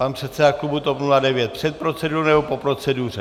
Pane předsedo klubu TOP 09, před procedurou, nebo po proceduře?